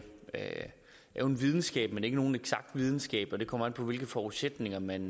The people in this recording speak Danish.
er en videnskab men ikke nogen eksakt videnskab det kommer an på hvilke forudsætninger man